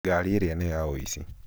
ngari ĩrĩa nĩ ya ũici